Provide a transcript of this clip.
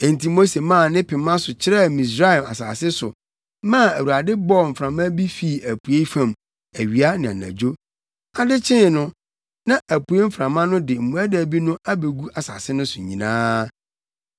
Enti Mose maa ne pema so kyerɛɛ Misraim asase so maa Awurade bɔɔ mframa bi fii apuei fam awia ne anadwo. Ade kyee no, na apuei mframa no de mmoadabi no abegu asase no so nyinaa.